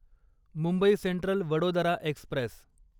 Mumbai Central Vadodara Express